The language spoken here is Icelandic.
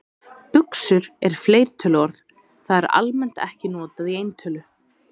Buxur er fleirtöluorð, það er almennt ekki notað í eintölu.